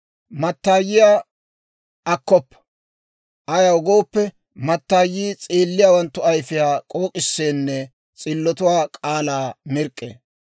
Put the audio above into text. Mattaayiyaa (magans's'aa) akkoppa; ayaw gooppe, mattaayii s'eelliyaawanttu ayfiyaa k'ook'iseenne s'illatuwaa k'aalaa mirk'k'ee.